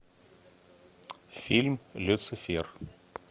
фильм люцифер